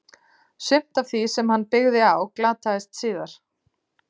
Sumt af því sem hann byggði á glataðist síðar.